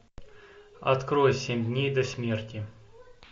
открой семь дней до смерти